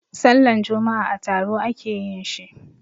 Sallan juma'a a taro a ke yin shi.